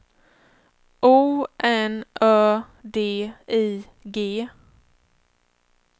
O N Ö D I G